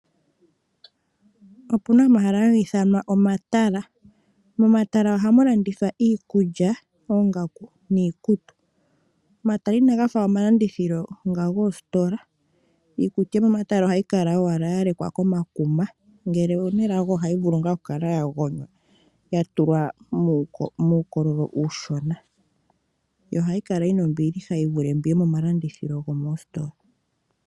Opuna omahala haga ithanwa omatala. Momatala ohamu landithwa iikulya, oongaku niikutu. Omatala inaga fa omalandithilo nga goositola. Iikutu yomomatala ohayi kala owala ya lekwa komakuma, ngele owu na elago ohayi vulu ngaa okukala ya gonywa ya tulwa muukololo uushona, yo ohayi kala yi na ombiliha yi vule mbi yomomalandithilo gomoositola.